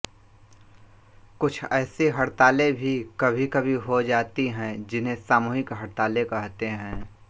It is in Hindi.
कुछ ऐसी हड़तालें भी कभीकभी हो जाती हैं जिन्हें सामूहिक हड़तालें कहते हैं